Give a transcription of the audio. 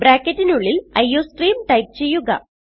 ബ്രാക്കറ്റിനുള്ളിൽ iostream type ചെയ്യുക